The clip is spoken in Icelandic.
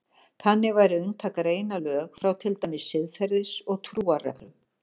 Þannig væri unnt að greina lög frá til dæmis siðferðis- og trúarreglum.